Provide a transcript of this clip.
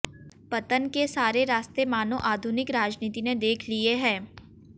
पतन के सारे रास्ते मानों आधुनिक राजनीति ने देख लिए हैं